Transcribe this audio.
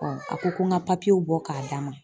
a ko ko n ka bɔ k'a d'a ma